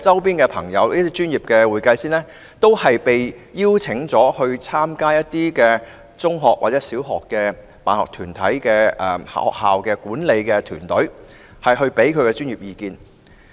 第二，我有很多專業會計師朋友都獲邀參加一些中學或小學的管理團隊，提供專業意見。